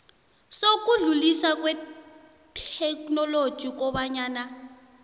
sokudluliswa kwetheknoloji kobanyana